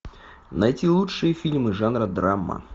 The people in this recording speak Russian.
найти лучшие фильмы жанра драма